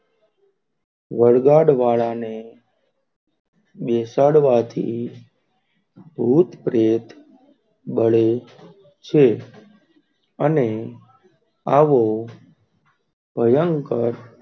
વળગાડ વાળ ને બેસાડવા થી ભૂત, પ્રેત બળે છે. અને આવો ભયંકર,